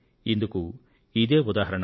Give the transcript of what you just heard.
ఇందుకు ఇదే ఉదాహరణ